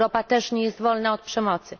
Europa też nie jest wolna od przemocy.